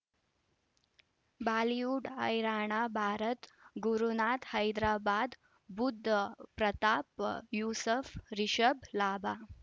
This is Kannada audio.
ಬಾಲಿವುಡ್ ಹೈರಾಣ ಭಾರತ್ ಗುರುನಾಥ ಹೈದರಾಬಾದ್ ಬುಧ್ ಪ್ರತಾಪ್ ಯೂಸುಫ್ ರಿಷಬ್ ಲಾಭ